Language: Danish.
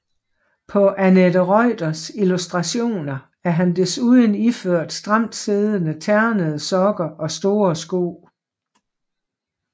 På Annette Reuters illustrationer er han desuden iført stramtsiddende ternede sokker og store sko